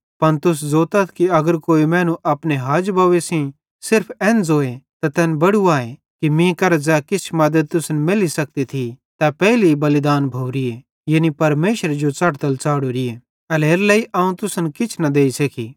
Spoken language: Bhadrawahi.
पन तुस ज़ोतथ कि अगर कोई मैनू अपने हाज बव्वे सेइं सिर्फ एन ज़ोए त तैन बड़ू आए कि मीं करां ज़ै किछ मद्दत तुसन मैल्ली सकती थी तै पेइली बलिदान भोरीए यानी परमेशरे जो च़ढ़तल च़ाढ़ोरीए एल्हेरेलेइ अवं तुसन किछ न देइ सकी